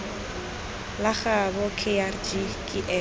la gaabo kgr ke ena